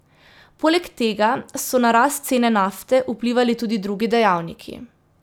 Poleg tega so na rast cene nafte vplivali tudi drugi dejavniki.